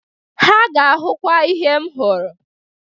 Ha ga-ahụkwa ihe m hụrụ.